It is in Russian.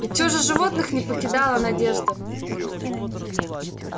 и всё же животных не покидала надежда